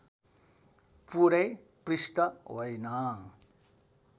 पुरै पृष्ठ होइन